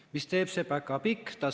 Mis teeb see päkapikk?